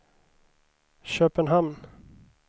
Köpenhamn